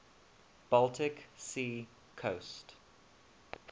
baltic sea coast